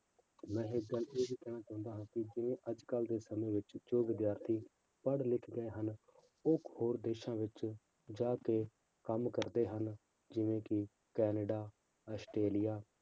ਮੈਂ ਇੱਕ ਗੱਲ ਇਹ ਵੀ ਕਹਿਣਾ ਚਾਹੁੰਦਾ ਹਾਂ ਕਿ ਜਿਵੇਂ ਅੱਜ ਕੱਲ੍ਹ ਦੇ ਸਮੇਂ ਵਿੱਚ ਜੋ ਵਿਦਿਆਰਥੀ ਪੜ੍ਹ ਲਿਖ ਗਏ ਹਨ, ਉਹ ਹੋਰ ਦੇਸਾਂ ਵਿੱਚ ਜਾ ਕੇ ਕੰਮ ਕਰਦੇ ਹਨ, ਜਿਵੇਂ ਕਿ ਕੈਨੇਡਾ, ਅਸਟ੍ਰੇਲੀਆ